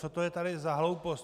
Co to je tady za hloupost?